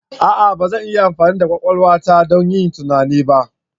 A'a! Ba zan iya amfani da kwakwalwa ta don yin tunani ba.